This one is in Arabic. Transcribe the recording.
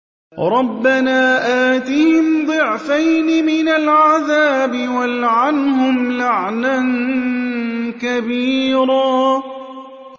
رَبَّنَا آتِهِمْ ضِعْفَيْنِ مِنَ الْعَذَابِ وَالْعَنْهُمْ لَعْنًا كَبِيرًا